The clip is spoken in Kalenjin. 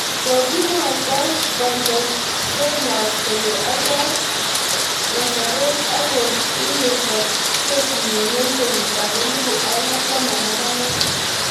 Kogimwaito Contostavlos kole aldoi nyasoret ak kogiwirto kesinyi eng kenyit ab elibu aeng ak taman ak angwan